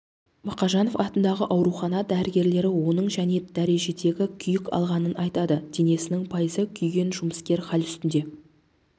мақажанов атындағы аурухана дәрігерлері оның және дәрежедегі күйік алғанын айтады денесінің пайызы күйген жұмыскер хәл үстінде